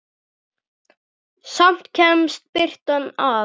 Samt kemst birtan að.